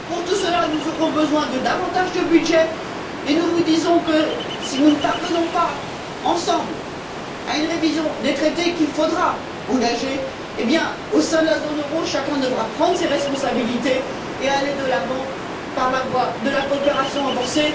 Pour tout cela, nous aurons besoin de davantage de budget, et nous vous disons que, si nous ne parvenons pas, ensemble, à une révision des traités qu'il faudra engager, alors au sein de la zone euro, chacun devra prendre ses responsabilités et aller de l'avant par la voie de la coopération renforcée.